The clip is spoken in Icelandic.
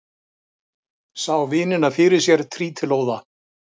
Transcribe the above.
Sá vinina fyrir sér trítilóða.